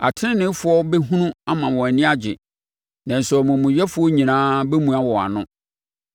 Ateneneefoɔ bɛhunu ama wɔn ani gye, nanso amumuyɛfoɔ nyinaa bɛmua wɔn ano.